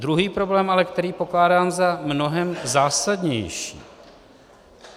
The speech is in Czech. Druhý problém ale, který pokládám za mnohem zásadnější.